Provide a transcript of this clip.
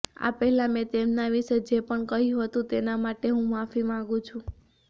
આ પહેલા મેં તેમના વિશે જે પણ કહ્યું હતું તેના માટે હું માફી માંગું છું